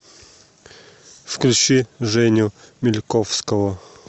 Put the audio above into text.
включи женю мильковского